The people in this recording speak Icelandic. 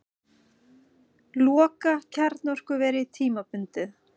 Loka kjarnorkuveri tímabundið